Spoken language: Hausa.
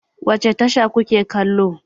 Wace tasha ku ke kallo?